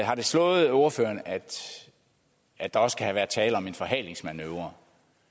har det slået ordføreren at at der også kan have været tale om en forhalingsmanøvre